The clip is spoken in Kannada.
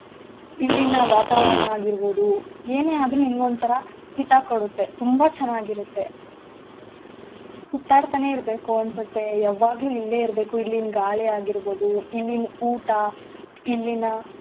ಇಲ್ಲಿನ ವಾತಾವರಣ ಆಗಿರ್ಬೋದು ಏನೇ ಆದ್ರೂ ನಿಮ್ಗ್ ಒಂತರ ಹಿತ ಕೊಡತ್ತೆ ತುಂಬಾ ಚೆನ್ನಾಗಿರತ್ತೆ. ಸುತ್ತಾಡ್ತನೇ ಇರ್ಬೇಕು ಅನ್ಸತ್ತೆ ಯಾವಾಗ್ಲು ಇಲ್ಲೇ ಇರ್ಬೇಕು ಇಲ್ಲಿನ್ ಗಾಳಿ ಆಗಿರ್ಬೋದು ಇಲ್ಲಿನ್ ಊಟ ಇಲ್ಲಿನ.